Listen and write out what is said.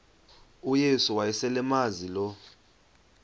uyesu wayeselemazi lo